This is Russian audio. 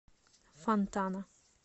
фонтана